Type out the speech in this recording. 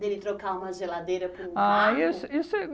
dele trocar uma geladeira por um barco? Ah isso, isso é